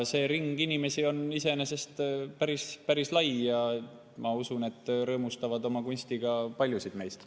See ring on iseenesest päris-päris lai ja ma usun, et nad rõõmustavad oma kunstiga paljusid meist.